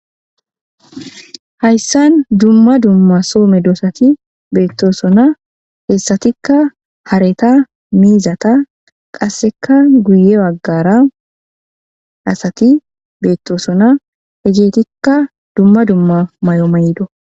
Hayssan dumma dumma so meedosati beetosona hessatikka hareta, miizata qasseka guye bagara asati beetosona heegetikka dumma dumma mayo mayidda.